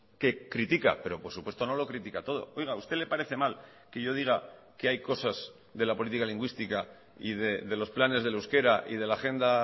que critica pero por supuesto no lo critica todo oiga a usted le parece mal que yo diga que hay cosas de la política lingüística y de los planes del euskera y de la agenda